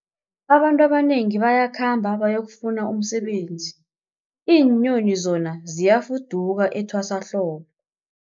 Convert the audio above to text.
Abantu abanengi bayakhamba bayokufuna umsebenzi, iinyoni zona ziyafuduka etwasahlobo.